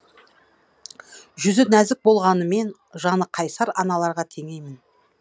жүзі нәзік болғанымен жаны қайсар аналарға теңеймін